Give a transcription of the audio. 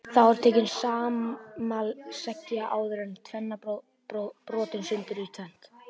Þá er tekin sama sleggja og áður og steinninn brotinn sundur í tvennt.